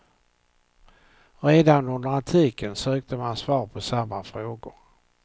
Redan under antiken sökte man svar på samma frågor.